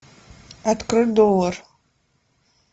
открой доллар